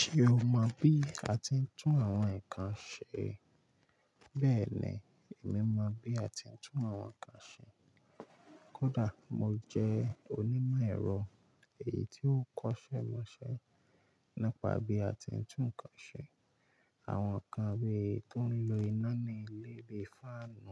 Ṣé o mọ bí a ti ń tún àwọn nǹkan ṣe? Bẹ́ẹ̀ ni, èmi mọ bí a ti ń tún àwọn nǹkan ṣe. Kódà mo jẹ́ onímọ̀ ẹ̀rọ èyí tí ó kọ́ṣẹ́ mọṣẹ́ nípa bí a ti ń tún ǹkan ṣe. Àwọn nǹkan bí i tó ń lo iná ní ilé bíi fáànù